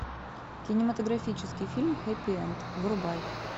кинематографический фильм хэппи энд врубай